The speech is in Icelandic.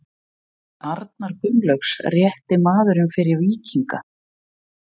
Er Arnar Gunnlaugs rétti maðurinn fyrir Víkinga?